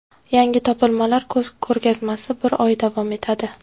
Yangi topilmalar ko‘rgazmasi bir oy davom etadi.